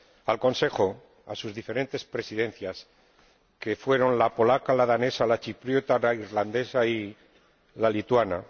al Consejo, a sus diferentes Presidencias, que fueron la polaca, la danesa, la chipriota, la irlandesa y la lituana